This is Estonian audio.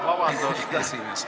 Vabandust!